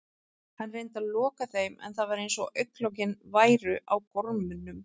Hann reyndi að loka þeim en það var eins og augnlokin væru á gormum.